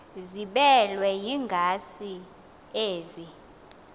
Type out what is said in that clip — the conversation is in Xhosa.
ziblelwe yingazi ezi